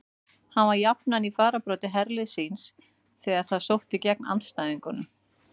Hann var jafnan í fararbroddi herliðs síns þegar það sótti gegn andstæðingunum.